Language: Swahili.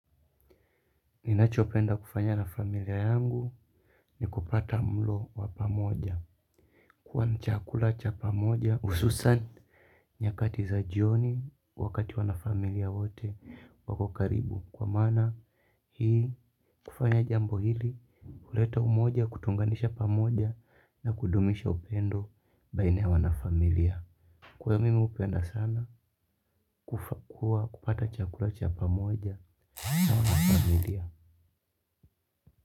Ninachopenda kufanya na familia yangu ni kupata mlo wa pamoja. Kwani chakula cha pamoja hususan nyakati za jioni wakati wanafamilia wote wako karibu. Kwa maana hii hufanya jambo hili kuleta umoja kutunganisha pamoja na kudumisha upendo baina ya wanafamilia. Kwa hiyo mimi hupenda sana kupata chakula cha pamoja na wanafamilia.